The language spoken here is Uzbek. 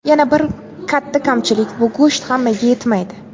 Yana bir katta kamchilik bu go‘sht hammaga yetmaydi.